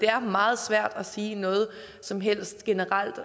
er meget svært at sige noget som helst generelt